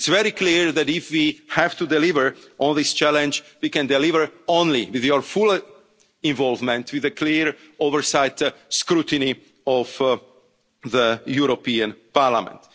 Member States. It's very clear that, if we have to deliver on this challenge, we can deliver only with your full involvement and with clear oversight and scrutiny from the European